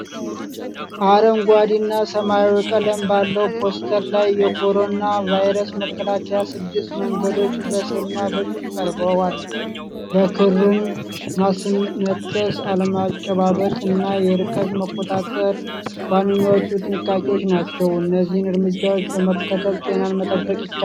አረንጓዴ እና ሰማያዊ ቀለም ባለው ፖስተር ላይ የኮሮና ቫይረስ መከላከያ ስድስት መንገዶች በስዕልና በጽሑፍ ቀርበዋል። በክርን ማስነጠስ፣ አለመጨባበጥ እና የርቀት መቆጣጠር ዋነኛዎቹ ጥንቃቄዎች ናቸው። እነዚህን እርምጃዎች በመከተል ጤናን መጠበቅ ይቻላል?